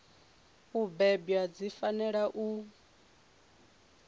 u bebwa dzi fanela u